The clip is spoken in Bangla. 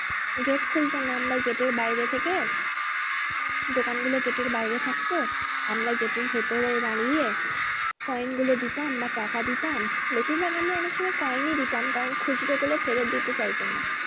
Gate খুলতো না আমরা gate এর বাইরে থেকে দোকান গুলো gate এর বাইরে থাকতো আমরা gate এর ভেতরে দাঁড়িয়ে কয়েন গুলো দিতাম বা টাকা দিতাম বেশির ভাগ আমরা অনেক সময় কয়েনই দিতাম কারণ খুচরো গুলো ফেরত দিতে চাইতো না।